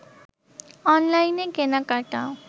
অনলাইনে কেনাকাটা